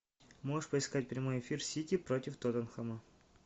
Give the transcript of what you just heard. можешь поискать прямой эфир сити против тоттенхэма